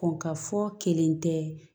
Kɔn ka fɔ kelen tɛ